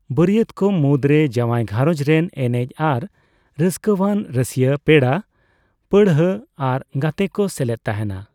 ᱵᱟᱹᱨᱭᱟᱹᱛ ᱠᱚ ᱢᱩᱫᱽᱨᱮ ᱡᱟᱣᱟᱭ ᱜᱷᱟᱨᱚᱸᱡᱽ ᱨᱮᱱ ᱮᱱᱮᱡ ᱟᱨ ᱨᱟᱹᱥᱠᱟᱹᱣᱟᱱ ᱨᱟᱹᱥᱤᱭᱟᱹ, ᱯᱮᱲᱟᱼᱯᱟᱹᱲᱦᱟᱹ ᱟᱨ ᱜᱟᱛᱮ ᱠᱚ ᱥᱮᱞᱮᱫ ᱛᱟᱦᱮᱸᱱᱟ ᱾